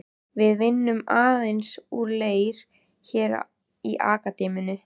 Við vinnum aðeins úr leir hér í Akademíunni.